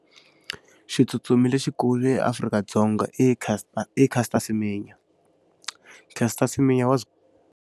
Xitsutsumi lexikulu eAfrika-Dzonga i Caster i Caster Semenya. Caster Semenya wa .